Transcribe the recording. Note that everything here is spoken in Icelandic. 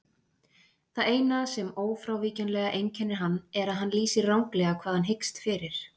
Það eina sem ófrávíkjanlega einkennir hann er að hann lýsir ranglega hvað hann hyggst fyrir.